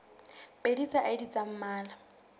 pedi tsa id tsa mmala